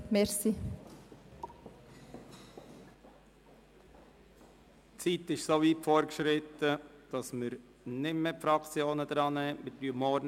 Die Zeit ist so weit fortgeschritten, dass wir die Fraktionen nicht mehr an die Reihe nehmen.